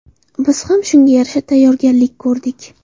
Biz ham shunga yarasha tayyorgarlik ko‘rdik.